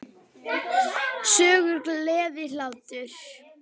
Söngur, gleði, hlátur.